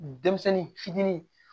Denmisɛnnin fitinin